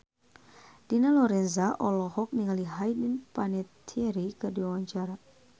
Dina Lorenza olohok ningali Hayden Panettiere keur diwawancara